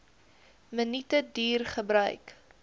minute duur gebruik